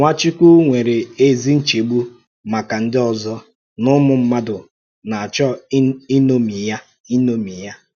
Nwàchùkwù nwere ézì nchègbù maka ndị òzò na ụmụ̀ mmádụ̀ na-àchọ́ ịṅómì ya. ịṅómì ya.